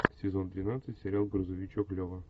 сезон двенадцать сериал грузовичок лева